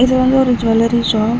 இது வந்து ஒரு ஜுவல்லரி ஷாப் .